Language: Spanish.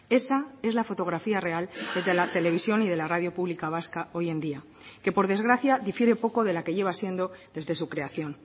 esa es la fotografía real de la televisión y de la radio pública vasca hoy en día que por desgracia difiere poco de la que lleva siendo desde su creación